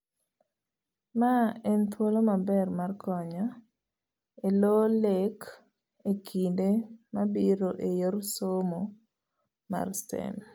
Mae en thuolo maber mar konyo elo lek ekinde mabiro eyore somo mar STEAM.